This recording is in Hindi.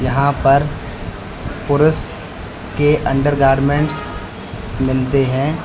यहां पर पुरुष के अंडरगारमेंट्स मिलते है।